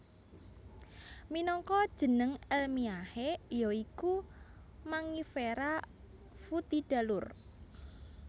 Minangka jeneng elmiahe ya iku Mangifera foetida Lour